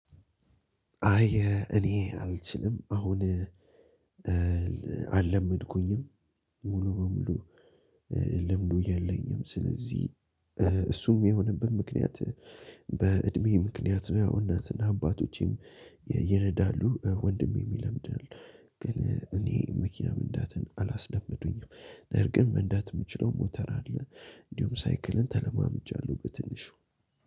አይ እኔ አልችልም፣ አሁን አልለመድኩኝም። ሙሉ በሙሉ ልምዱ የለኝም። ስለዚህ እሱም የሚሆንብን ምክንያት በእድሜ ምክንያት ነው። ያው እናትና አባቶቼም ይነዳሉ፣ ወንድሜ ይለምዳል፣ ግን እኔ መኪና መንዳትን አላስደመዱኝም። ነር ግን መንዳት የምችለው ሞተር አለ እንዲሁም ሳይክልን ተለማምጃለሁ በትንሹ።